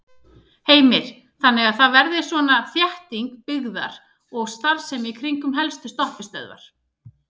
Heimir: Þannig að það verði svona þétting byggðar og starfsemi í kringum helstu stoppistöðvar?